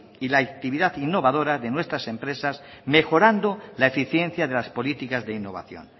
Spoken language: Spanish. y la actividad innovadora de nuestras empresas mejorando la eficiencia de las políticas de innovación